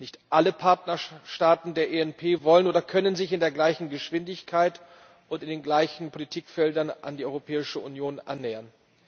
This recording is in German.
Nicht alle Partnerstaaten der ENP wollen oder können sich in der gleichen Geschwindigkeit und in den gleichen Politikfeldern an die Europäische Union annähern.